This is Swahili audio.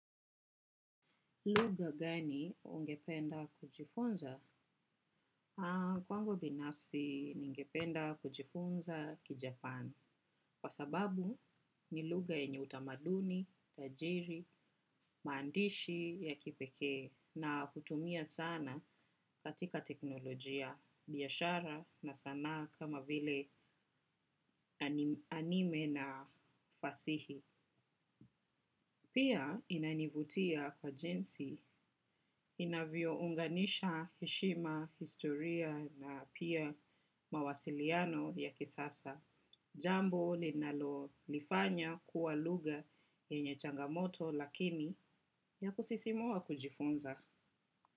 Luga gani ungependa kujifunza? Kwangu binafsi ningependa kujifunza kijapan. Kwa sababu ni lugha yenye utamaduni, tajiri, maandishi ya kipeke na kutumia sana katika teknolojia biashara na sanaa kama vile anime na fasihi. Pia inainivutia kwa jinsi inavyo unganisha heshima, historia na pia mawasiliano ya kisasa. Jambo linalo nifanya kuwa lugha yenye changamoto lakini ya kusisimua kujifunza.